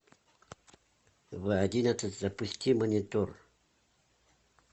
в одиннадцать запусти монитор